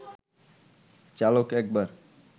চালক একবার